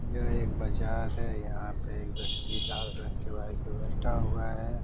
यह एक बाजार है। यहाँ पे एक व्यक्ति लाल रंग के बाइक पे बैठा हुआ है।